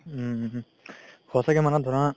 উম সচাকে মানে ধৰা